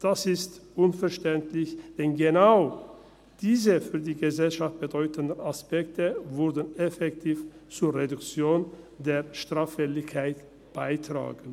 Das ist unverständlich, denn genau diese, für die Gesellschaft bedeutenden Aspekte trügen effektiv zur Reduktion der Straffälligkeit bei.